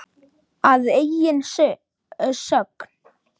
Að eigin sögn.